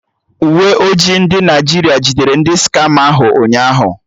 Uwe ojii ndị Naịjirịa jidere ndị skama ahụ ụnyaahụ